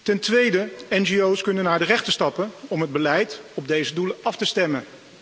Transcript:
Ten tweede, ngo's kunnen naar de rechter stappen om het beleid op deze doelen af te stemmen.